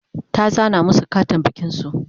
ta zana masu Katin bikin su